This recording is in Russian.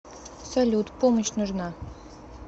салют помощь нужна